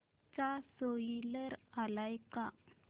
चा स्पोईलर आलाय का